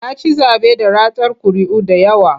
Ya ci zaɓe da ratar ƙuri'u da yawa.